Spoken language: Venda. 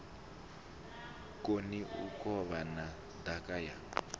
koni u kovhana ndaka ya